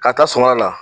Ka taa sɔnŋa la